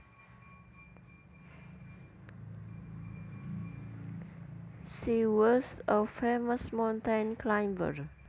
She was a famous mountain climber